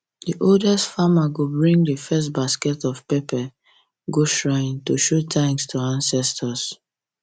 the oldest um farmer go bring the first basket of pepper go shrine to show thanks to ancestors